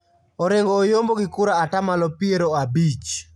Orengo oyombo gi kura atamalo piero abich